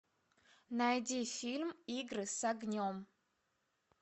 найди фильм игры с огнем